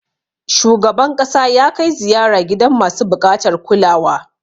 Shugaban ƙasa ya kai ziyara gidan masu buƙatar kulawa.